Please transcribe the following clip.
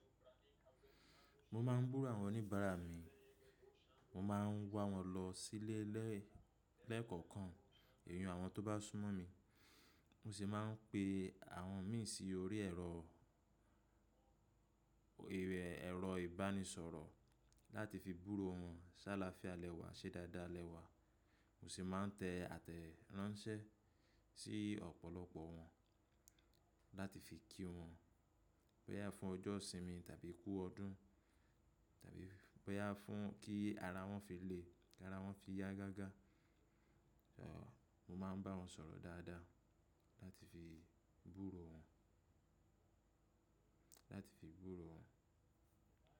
Mo máà ń gbúro àwọn oníbàárà mi, mo ma ń wá wọn lọ sílé lẹ́ẹ̀ lẹ́ẹ̀kọ̀kan iyen àwọn tó bá súnmọ́ mi. Mo sì máa ń pe àwọn mi sí orí ẹ̀rọ, ẹrọ ibanisọrọ lati fi gburó wọn se alaafia ni e wa se daadaa ni e wa. Mo sì máa ń tẹ àtẹ̀ránsẹ́ sí ọ̀pọ̀lọpọ̀ wọn láti fi kí wọn pé a fún ọjọ́ ìsinmi tàbí kú ọdún, tàbí pé a fún kí ara wọn fi le, tabi kí ara wọn fi yá gágá. Ẹ̀. Mo máa ń bá wọn sọ̀rọ̀ dáadáa láti fi gbúro wọn, láti fi gbúro wọn.